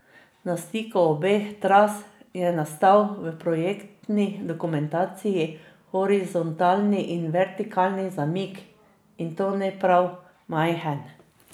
Na stiku obeh tras je nastal v projektni dokumentaciji horizontalni in vertikalni zamik, in to ne prav majhen.